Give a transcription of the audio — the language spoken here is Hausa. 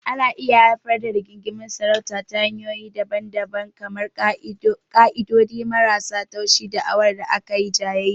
Ana iya haifar da rigingimun sarauta ta hanyoyi daban-daban kamar ƙa'idodi marasa tushe, da'awar da aka yi jayayya.